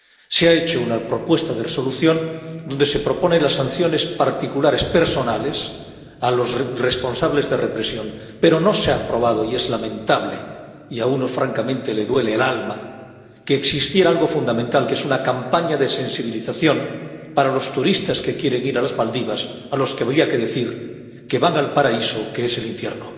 Se ha presentado una propuesta de Resolución en la que se proponen sanciones particulares personales para los responsables de represión, pero no se ha aprobado, y es lamentable —y a uno francamente le duele el alma—, ya que había algo fundamental, que es una campaña de sensibilización para los turistas que quieren ir a Maldivas, a los que habría que decir que van al paraíso que es el infierno.